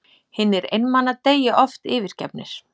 Hinir einmana deyja oft yfirgefnir.